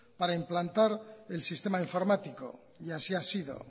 para implantar el sistema informático y así ha sido